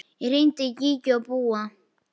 Ég hringdi í Gígju og Búa.